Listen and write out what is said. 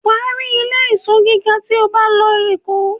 wà á rí ilé-ìsọ́ gíga tí o bá lọ Èkó.